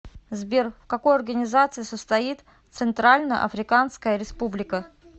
сбер в какой организации состоит центральноафриканская республика